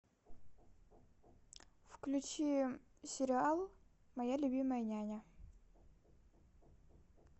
включи сериал моя любимая няня